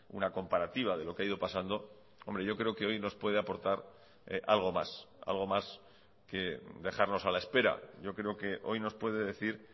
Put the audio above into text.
una comparativa de lo que ha ido pasando hombre yo creo que hoy nos puede aportar algo más algo más que dejarnos a la espera yo creo que hoy nos puede decir